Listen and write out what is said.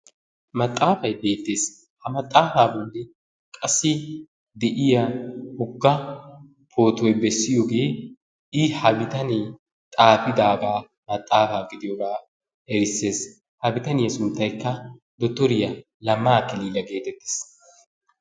maxaafay beetee, ha maxaafaa boli qassi de'iya woga pootoy bessiyoogee i ha bitanee xaafidaagaa maxaafaa gidiyoogaa erisees. ha bitaniya suntaykka dotoriya lamma akilila geetettees.